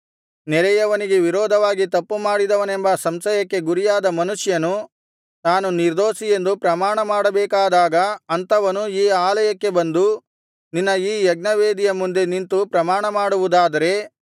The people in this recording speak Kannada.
ನೆರೆಯವನಿಗೆ ವಿರೋಧವಾಗಿ ತಪ್ಪುಮಾಡಿದವನೆಂಬ ಸಂಶಯಕ್ಕೆ ಗುರಿಯಾದ ಮನುಷ್ಯನು ತಾನು ನಿರ್ದೋಷಿಯೆಂದು ಪ್ರಮಾಣಮಾಡಬೇಕಾದಾಗ ಅಂಥವನು ಈ ಆಲಯಕ್ಕೆ ಬಂದು ನಿನ್ನ ಈ ಯಜ್ಞವೇದಿಯ ಮುಂದೆ ನಿಂತು ಪ್ರಮಾಣಮಾಡುವುದಾದರೆ